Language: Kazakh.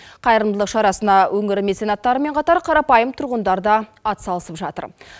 қайырымдылық шарасына өңір меценаттарымен қатар қарапайым тұрғындар да атсалысып жатыр